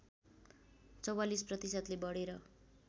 ४४ प्रतिशतले बढेर